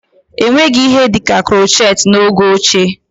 Enweghị ihe dịka krochet n'oge ochie